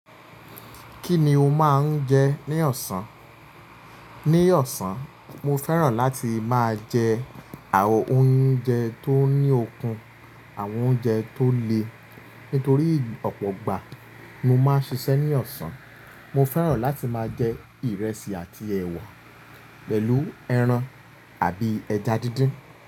Kí ni o máa ń jẹ ní ọ̀sán? Ní ọ̀sán, mo fẹ́ràn láti máa jẹ àwọn oúnjẹ tó ní okun, àwọn oúnjẹ tó le. Nítorí ọ̀pọ̀ gbà mo máa ń ṣiṣẹ́ ní ọ̀sán, mo fẹ́ràn láti máa jẹ ìrẹsì àti ẹ̀wà pẹ̀lú ẹran àbí ẹja díndín.